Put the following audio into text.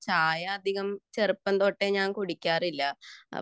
ചായ അധികം ചെറുപ്പം തൊട്ടേ ഞാൻ കുടിക്കാറില്ല